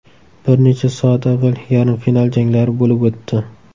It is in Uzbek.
Bir necha soat avval yarim final janglari bo‘lib o‘tdi.